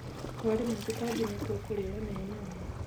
Warĩma tũtambĩ nĩtũkũrĩo nĩ nyoni